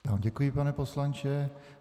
Já vám děkuji, pane poslanče.